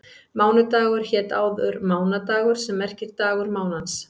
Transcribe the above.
Mánudagur hét áður mánadagur sem merkir dagur mánans.